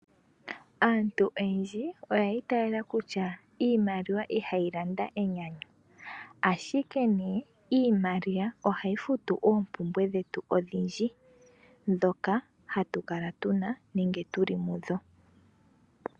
Aantu oyendji oyiitayela utya iimaliwa ihayi landa enyanyu ashike nee iimaliwa ohayi futu oopumbwe dhetu odhindji dhoka hatukala tuna nenge tuli mudho.